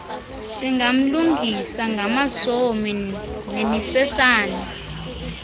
singamlungisa ngamasomi nemisesane